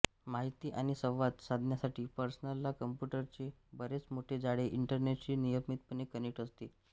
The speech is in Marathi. माहिती आणि संवाद साधण्यासाठी पर्सनल कॉम्प्युटरचे बरेच मोठे जाळे इंटरनेटशी नियमितपणे कनेक्ट असते